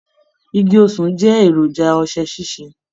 Igi osùn jẹ èròjà ọṣẹ sise.